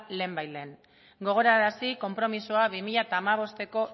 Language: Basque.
lehenbailehen gogorarazi konpromisoa bi mila hamabosteko